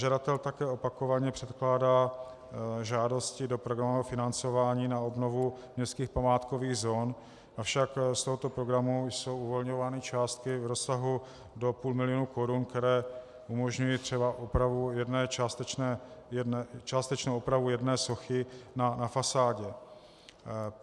Žadatel také opakovaně předkládá žádosti do programového financování na obnovu městských památkových zón, avšak z tohoto programu jsou uvolňovány částky v rozsahu do půl milionu korun, které umožňují třeba částečnou opravu jedné sochy na fasádě.